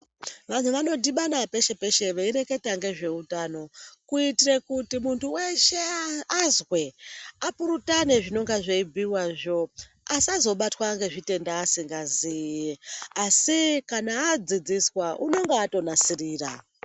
Vantu vanodibana peshe-peshe veireketa ngezveutano, kuitire kuti muntu weshe azwe, apurutane zvinonga zveibhuyiwazvo, asazobatwa ngezvitenda asingaziyi, asi kana adzidziswa unenge atonasirira.